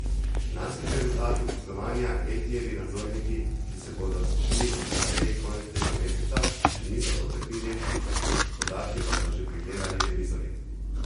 Lanskih rezultatov poslovanja Etijevi nadzorniki, ki se bodo sešli na seji konec tega meseca, še niso potrdili, podatke pa so že pregledali revizorji.